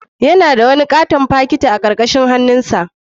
Yana da wani katon fakiti a karkashin hannun hagunsa.